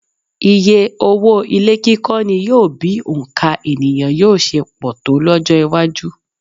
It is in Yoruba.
Iyé owó ilé kíkọ́ ni yóò bi òǹkà ènìyàn yóò ṣe pọ̀ tó lọ́jọ́-iwájú.